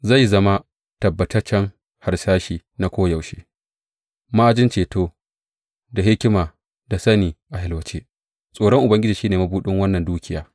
Zai zama tabbataccen harsashi na koyaushe, ma’ajin ceto da hikima da sani a yalwace; tsoron Ubangiji shi ne mabuɗin wannan dukiya.